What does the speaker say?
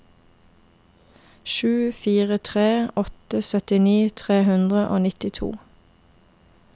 sju fire tre åtte syttini tre hundre og nittito